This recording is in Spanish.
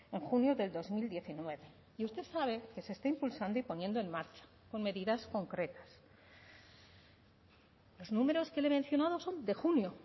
en junio del dos mil diecinueve y usted sabe que se está impulsando y poniendo en marcha con medidas concretas los números que le he mencionado son de junio